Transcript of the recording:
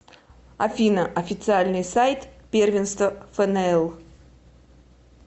афина официальный сайт первенство фнл